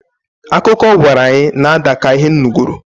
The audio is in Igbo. Akụkọ ọ gwara anyị na-ada ka Ihe m nugoro